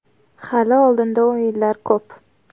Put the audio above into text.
Hali oldinda o‘yinlar ko‘p.